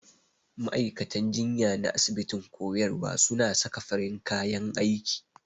Ma'aikatan jinya na asibitin koyarwa suna saka farin kayan aiki.